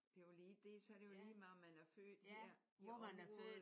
Det er jo lige det. Så er det jo lige meget om man er født her i området